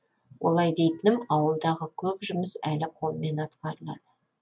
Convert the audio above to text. олай дейтінім ауылдағы көп жұмыс әлі қолмен атқарылады